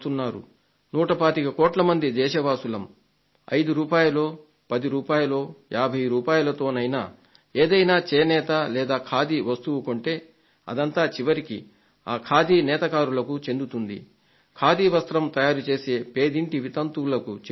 నూట పాతిక కోట్ల మంది దేశవాసులం 5 రూపాయలో పదో యాభై రూపాయలతోనైనా ఏదైనా చేనేత లేదా ఖాదీ వస్తువు కొంటే అదంతా చివరికి ఆ ఖాదీ నేత కార్మికులకు చెందుతుంది ఖాదీ వస్త్రం తయారుచేసే పేదింటి వితంతువులకు చేరుతుంది